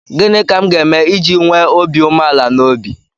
Gịnị ka m ga-eme iji nwee obi umeala n'obi?